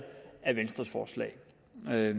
af